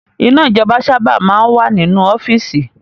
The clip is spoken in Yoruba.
Iná ijọba sábà máa ń wà nínú ọ́fíìsì